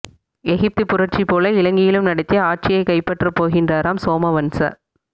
எகிப்து புரட்சி போல இலங்கையிலும் நடத்தி ஆட்சியை கைப்பற்ற போகின்றாராம் சோமவன்ச